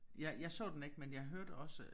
Jeg jeg så den ikke men jeg hørte også